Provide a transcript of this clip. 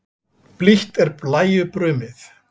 Blítt er blæju brumið.